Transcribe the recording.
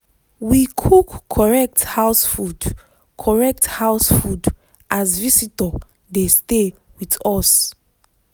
we cook correct house food correct house food as visitor dey stay with us.